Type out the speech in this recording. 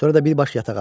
Sonra da bir baş yatağa.